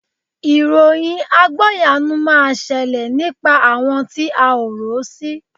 Ìròyìn àgbọ́yanu máa ṣẹlẹ̀ nípa àwọn tí a ò rò sí